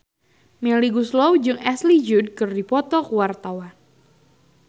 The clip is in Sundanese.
Melly Goeslaw jeung Ashley Judd keur dipoto ku wartawan